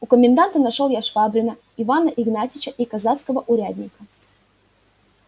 у коменданта нашёл я швабрина ивана игнатьича и казацкого урядника